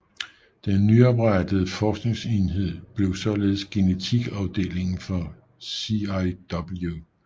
Den nyoprettede forskningsenhed blev således genetikafdelingen for CIW